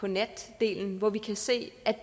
natdelen hvor vi kan se at